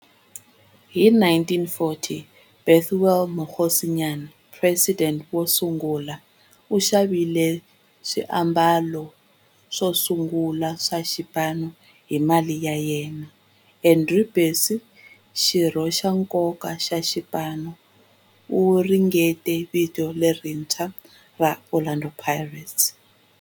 Hi 1940, Bethuel Mokgosinyane, president wo sungula, u xavile xiambalo xosungula xa xipano hi mali ya yena. Andrew Bassie, xirho xa nkoka xa xipano, u ringanyete vito lerintshwa ra 'Orlando Pirates'.